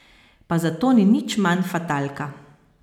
Pa zato ni nič manj fatalka.